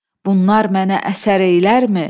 Bunlar mənə əsər eylərmi?